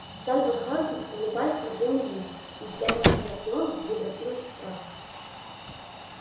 сальвор хардин улыбаясь смотрел на них и вся мощь анакреона превратилась в прах